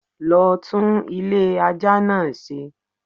Lo tún Ilé aja náa se